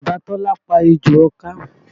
Bàbá Tọ́lá pa ejò ọká